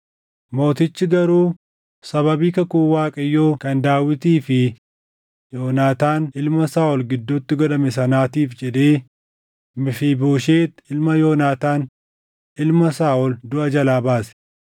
Mootichi garuu sababii kakuu Waaqayyoo kan Daawitii fi Yoonaataan ilma Saaʼol gidduutti godhame sanaatiif jedhee Mefiibooshet ilma Yoonaataan ilma Saaʼol duʼa jalaa baase.